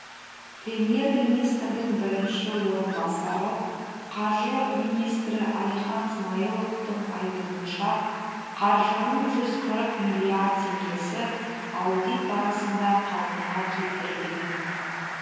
премьер министрдің бірінші орынбасары қаржы министрі әлихан смайыловтың айтуынша қаржының жүз қырық миллиард теңгесі аудит барысында қалпына келтірілген